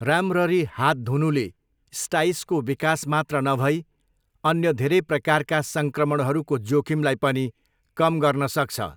राम्ररी हात धुनुले स्टाइसको विकास मात्र नभई अन्य धेरै प्रकारका सङ्क्रमणहरूको जोखिमलाई पनि कम गर्न सक्छ।